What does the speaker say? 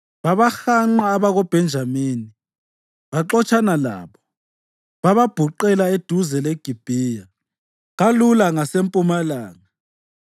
Babahanqa abakoBhenjamini, baxotshana labo, bababhuqela eduze leGibhiya kalula ngasempumalanga.